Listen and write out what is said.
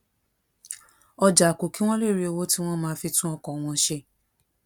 ọjà kù kí wón lè rí owó tí wón máa fi tún ọkò wọn ṣe